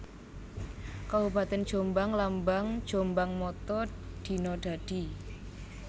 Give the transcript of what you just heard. Kabupatèn JombangLambang JombangMotto Dina Dadi